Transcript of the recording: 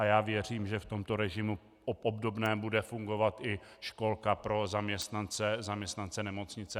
A já věřím, že v tomto režimu obdobném bude fungovat i školka pro zaměstnance nemocnice.